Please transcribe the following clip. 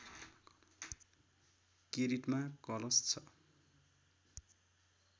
किरीटमा कलश छ